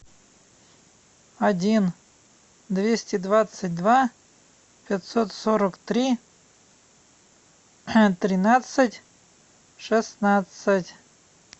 один двести двадцать два пятьсот сорок три тринадцать шестнадцать